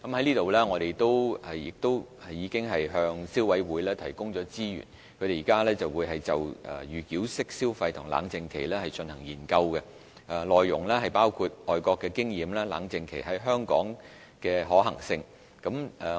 政府已向消委會提供資源，該會現正就預繳式消費和冷靜期進行研究，內容包括外國的經驗和在香港實施冷靜期的可行性。